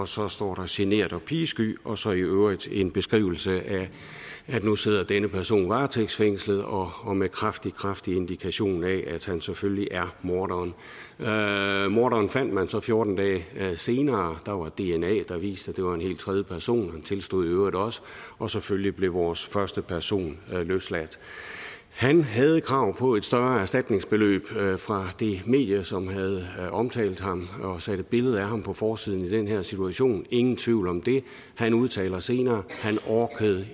så står genert og pigesky og så i øvrigt en beskrivelse af at nu sidder denne person varetægtsfængslet og med kraftig kraftig indikation af at han selvfølgelig er morderen morderen fandt man så fjorten dage senere der var dna der viste at det var en helt tredje person og han tilstod i øvrigt også og selvfølgelig blev vores første person løsladt han havde krav på et større erstatningsbeløb fra det medie som havde omtalt ham og sat et billede af ham på forsiden i den her situation ingen tvivl om det han udtaler senere